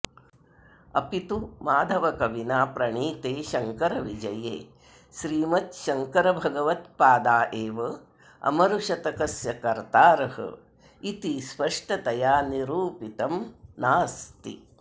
अपि तु माधवकविना प्रणीते शङ्करविजये श्रीमच्छङ्करभगवत्पादा एव अमरुशतकस्य कर्तारः इति स्पष्टतया निरूपितम् नास्ति